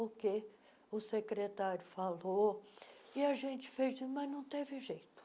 o que o secretário falou e a gente fez, mas não teve jeito.